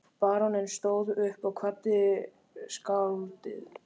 Baróninn stóð upp og kvaddi skáldið.